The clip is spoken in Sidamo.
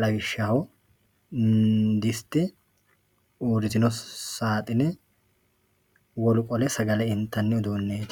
lawishshaho diste uurritino saaxine wolu qole aagale intanni uduunneeti.